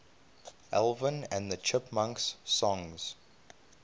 alvin and the chipmunks songs